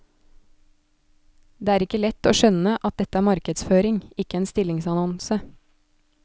Det er ikke lett å skjønne at dette er markedsføring, ikke en stillingsannonse.